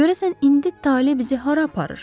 Görəsən indi tale bizi hara aparır?